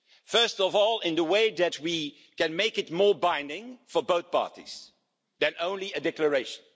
First of all, in that we can make it more binding for both parties than only a declaration.